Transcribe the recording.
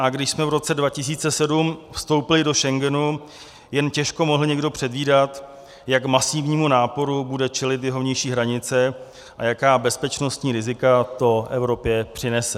A když jsme v roce 2007 vstoupili do Schengenu, jen těžko mohl někdo předvídat, jak masivnímu náporu bude čelit jeho vnější hranice a jaká bezpečnostní rizika to Evropě přinese.